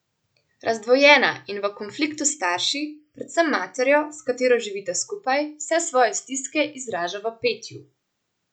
Razdvojena in v konfliktu s starši, predvsem materjo, s katero živita skupaj, vse svoje stiske izraža v petju.